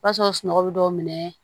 O b'a sɔrɔ sunɔgɔ bɛ dɔw minɛ